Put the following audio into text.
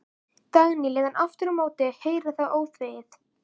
Dagný lét hann aftur á móti heyra það óþvegið.